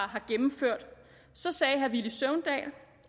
har gennemført så sagde herre villy søvndal